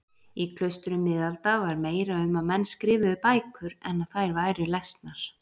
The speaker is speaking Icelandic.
Í klaustrum miðalda var meira um að menn skrifuðu bækur en að þær væru lesnar.